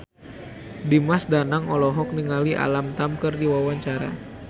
Dimas Danang olohok ningali Alam Tam keur diwawancara